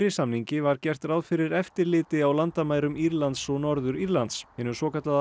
samningi var gert ráð fyrir eftirliti á landamærum Írlands og Norður Írlands hinu svokallaða